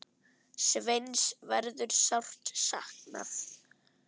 Sveins verður sárt saknað.